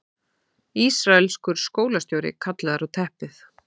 Ísraelskur skólastjóri kallaður á teppið